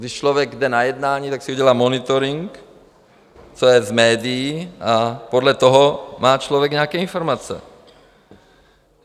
Když člověk jde na jednání, tak si dělá monitoring, co je v médiích, a podle toho má člověk nějaké informace.